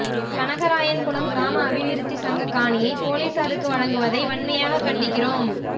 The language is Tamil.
கனகராயன்குளம் கிராம அபிவிருத்தி சங்க காணியை பொலிஸாருக்கு வழங்குவதை வன்மையாக கண்டிக்கின்றோம்